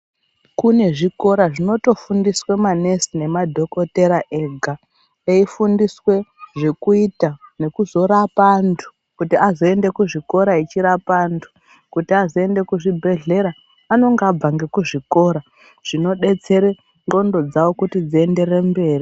Kune zvikora zvinotofundiswa ma nesi nemadhokodhera ega eifundiswa zvekuita nekuzorapa antu kuti azoenda kuzvikora echirapa antu. Kuti azoenda kuzvibhedhera anonga abva ngekuzvikora zvinodetsera ndxondo dzavo kuti dzienderere mberi.